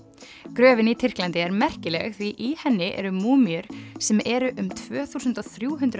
gröfin í Tyrklandi er merkileg því í henni eru múmíur sem eru um tvö þúsund og þrjú hundruð